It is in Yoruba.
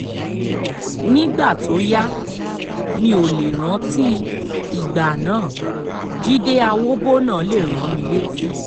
nígbà tó yá mi ò lè rántí ìgbà náà jíde àwòbọ́nà lè rán mi létí